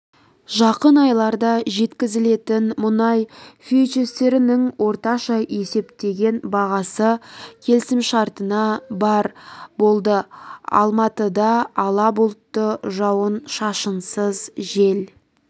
жақын айларда жеткізілетін мұнай фьючерстерінің орташа есептеген бағасы келісімшартына барр болды алматыда ала бұлтты жауын-шашынсыз жел